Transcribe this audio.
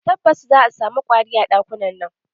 Tabbas, za'a samu ƙwari a ɗakunan.